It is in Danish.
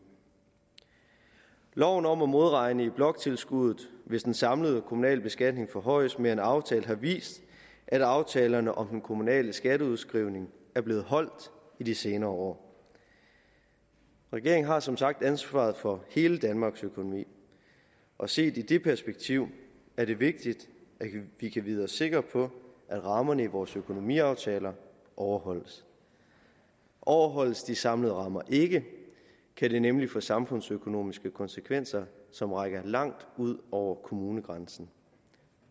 loven om at modregne i bloktilskuddet hvis den samlede kommunale beskatning forhøjes mere end aftalt har vist at aftalerne om den kommunale skatteudskrivning er blevet holdt i de senere år regeringen har som sagt ansvaret for hele danmarks økonomi og set i det perspektiv er det vigtigt at vi kan vide os sikre på at rammerne i vores økonomiaftaler overholdes overholdes de samlede rammer ikke kan det nemlig få samfundsøkonomiske konsekvenser som rækker langt ud over kommunegrænsen